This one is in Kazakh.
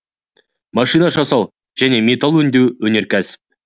машина жасау және металл өңдеу өнеркәсіп